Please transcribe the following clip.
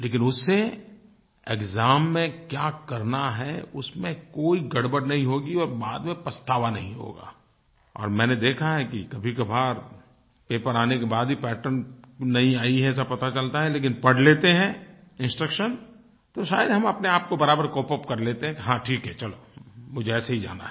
लेकिन उससे एक्साम में क्या करना है उसमें कोई गड़बड़ नहीं होगी और बाद में पछतावा नहीं होगा और मैंने देखा है कि कभीकभार पेपर आने के बाद भी पैटर्न नयी आयी है ऐसा पता चलता है लेकिन पढ़ लेते हैं इंस्ट्रक्शंस तो शायद हम अपने आपको बराबर कोपअप कर लेते हैं कि हाँ ठीक है चलो मुझे ऐसे ही जाना है